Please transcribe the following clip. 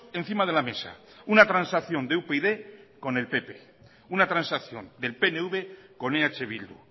encima de la mesa una transacción de upyd con el pp una transacción del pnv con eh bildu